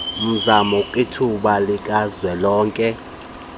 mzamo kwithuba likazwelonke